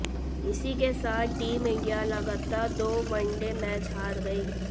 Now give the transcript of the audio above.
इसी के साथ टीम इंडिया लगातार दो वनडे मैच हार गई